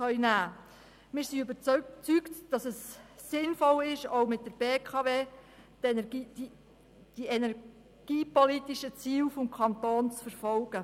Wir sind überzeugt, dass es sinnvoll ist, auch mit der BKW die energiepolitischen Ziele des Kantons zu verfolgen.